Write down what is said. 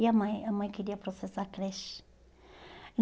E a mãe a mãe queria processar a creche.